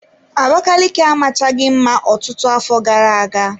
Abakaliki amachaghị mma ọtụtụ afọ gara-aga.